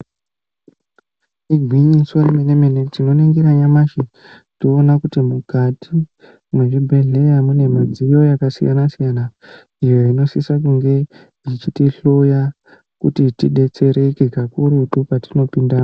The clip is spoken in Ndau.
Igwinyiso remene mene tinoningira nyamashi toona kuti mukati mwezvibhedhlera mune midziyo yakasiyana-siyana, iyo inosisa kunge ichitihloya kuti tidetsereke kakurutu petinopindamo.